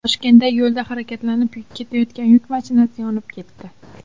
Toshkentda yo‘lda harakatlanib ketayotgan yuk mashinasi yonib ketdi.